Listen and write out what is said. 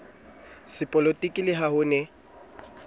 sepolotiki le ha ho ne